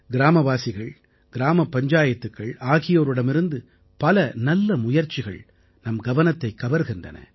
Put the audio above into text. கிராமவாசிகள் கிராமப் பஞ்சாயத்துக்கள் ஆகியோரிடமிருந்து பல நல்ல முயற்சிகள் நம் கவனத்தைக் கவர்கின்றன